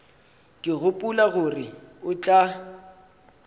ke gopola gore o tla